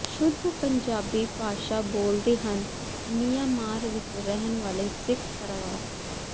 ਸ਼ੁਧ ਪੰਜਾਬੀ ਭਾਸ਼ਾ ਬੋਲਦੇ ਹਨ ਮਿਆਂਮਾਰ ਵਿਚ ਰਹਿਣ ਵਾਲੇ ਸਿੱਖ ਪਰਵਾਰ